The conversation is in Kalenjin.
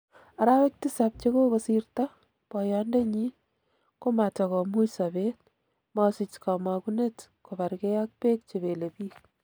Arawek tisab chekokosirto, boyondenyin, komatakomuch sobet, mosich komogunet kobarge ak beek chebelebik.